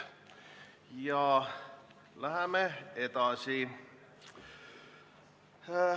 Ja läheme edasi.